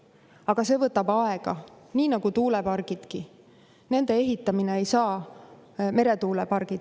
Aga see võtab aega, nii nagu võtavad meretuulepargidki.